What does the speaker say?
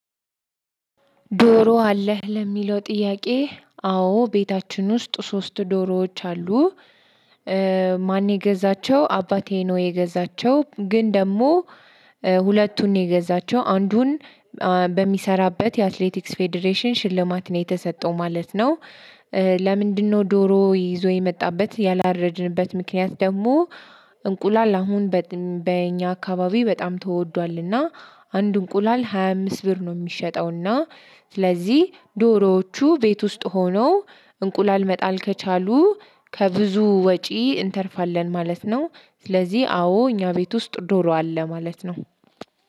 ዶሮ አለህ ለሚለው ጥያቄ አዎ ቤታችን ውስጥ ሶስት ዶሮዎች አሉ። እ ማን የገዛቸው አባቴ ነው የገዛቸው ግን ደግሞ እ ሁለቱን የገዛቸው አንዱን በሚሰራበት የአትሌቲክስ ፌዴሬሽን ሽልማት ነው የተሰጠው ማለት ነው። እ ለምንድነው ዶሮ ይዞ የመጣበት ያላረድንበት ምክንያት? ደግሞ እንቁላል አሁን በእኛ አካባቢ በጣም ተወዷልና አንድ እንቁላል ሃያ አምስት ብር ነው የሚሸጠውና። ስለዚህ ዶሮዎቹ ቤት ውስጥ ሆኖ እንቁላል መጣል ከቻሉ ከብዙ ወጪ እንተርፋለን ማለት ነው። ስለዚህ አዎ እኛ ቤት ውስጥ ዶሮ አለ ማለት ነው።